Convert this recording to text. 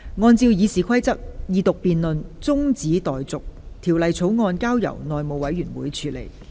按照《議事規則》，二讀辯論中止待續，條例草案交由內務委員會處理。